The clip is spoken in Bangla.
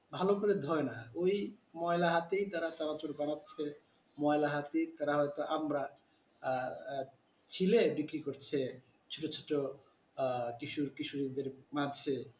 ভালো করে ধয়না ওই ময়লা হাতেই তারা চানাচুর বানাচ্ছে ময়লা হাতে তারা হয়তো আমড়া আহ ছিলে বিক্রি করছে ছোট ছোট আহ কিশোর কিশোরীদের পাশে